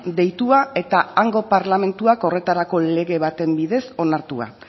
deitua eta hango parlamentuak horretarako lege baten bidez onartua